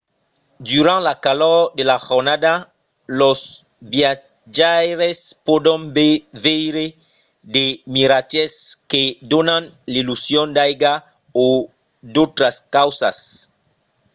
durant la calor de la jornada los viatjaires pòdon veire de miratges que donan l’illusion d’aiga o d’autras causas